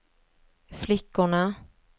flickorna